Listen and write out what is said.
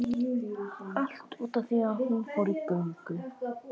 Allt út af því að hún fór í göngu